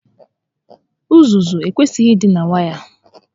Uzuzu ekwesighi ị dị na waya